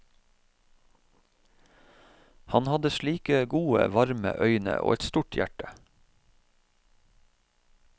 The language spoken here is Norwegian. Han hadde slike gode, varme øyne og et stort hjerte.